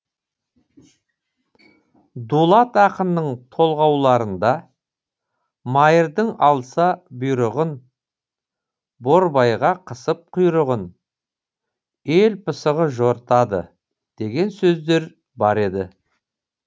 дулат ақынның толғауларында майырдың алса бұйрығын борбайға қысып құйрығын ел пысығы жортады деген сөздер бар еді